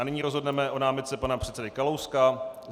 A nyní rozhodneme o námitce pana předsedy Kalouska.